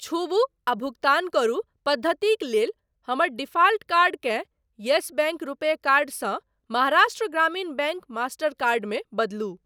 छूबु आ भुगतान करू पद्धतिक लेल हमर डिफाल्ट कार्डकेँ येस बैंक रुपे कर्ड सँ Maharashtra Gramin bank master card मे बदलू।